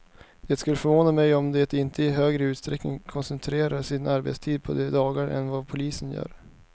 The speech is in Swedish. Det skulle förvåna mig om de inte i högre utsträckning koncentrerar sin arbetstid på de dagarna än vad polisen gör.